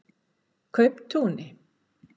Kauptúni